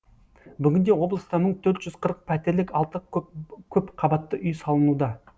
бүгінде облыста мың төрт жүз қырық пәтерлік алты көпқабатты үй салынуда